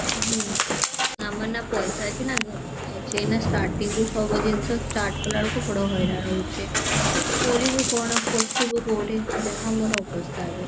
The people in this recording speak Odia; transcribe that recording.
ହୁଁ ଆମର ନା ପଇସା ଅଛି ନା କଣ ଅଛି ଏଇନା starting ରୁ ସବୁ ଜିନିଷ start କଲା ବେଳକୁ ବଡ ହଇରାଣ ହେଉଛି କରିବୁ କଣ ବସିବୁ କଉଠି ଯାହା ମୋର ଅବସ୍ଥା ଏବେ